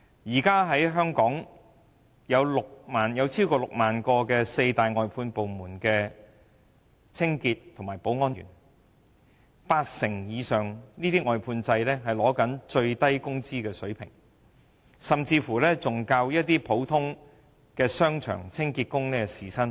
目前 ，6 萬名清潔工人及保安員為四大外判部門工作，當中八成以上的外判制員工支取最低工資，時薪甚至較一些商場的清潔工人為低。